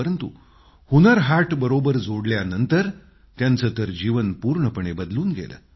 परंतु हुन्नर हाटबरोबर जोडल्यानंतर त्यांचं तर जीवन पूर्णपणे बदलून गेलं